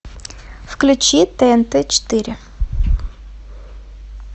включи тнт четыре